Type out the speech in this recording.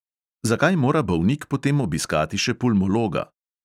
Zakaj mora bolnik potem obiskati še pulmologa?